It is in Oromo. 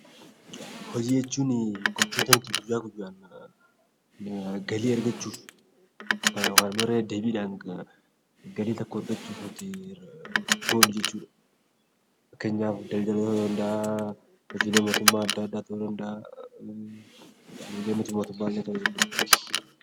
Hojii jechuun kan namni galii argachuuf hojjetu, wantoota inni irra deddeebiin galii tokko argachuuf hojjetu jechuudha. Innis hojiilee mootummaa fi miti mootummaallee ta'uu danda'a.